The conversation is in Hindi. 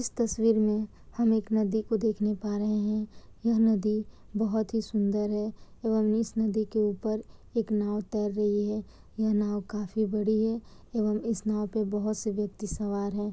इस तस्वीर में हम एक नदी को देखने पा रहें हैं यह नदी बहुत ही सुन्दर है एवं इस नदी के ऊपर एक नाव तैर रही है यह नाव काफी बड़ी है एवं इस नाव पे बहुत से व्यक्ति सवार हैं।